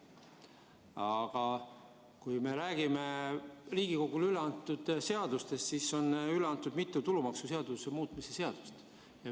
Aga kui me vaatame Riigikogule üle antud seaduseelnõusid, siis näeme, et üle on antud mitu tulumaksuseaduse muutmise seaduse eelnõu.